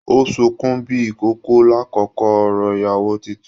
O sunkún bíi ìkókó l'akoko òrò ìyàwó títún.